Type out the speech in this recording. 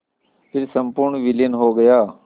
फिर संपूर्ण विलीन हो गया